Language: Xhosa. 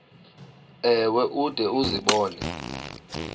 ewe ude uzibone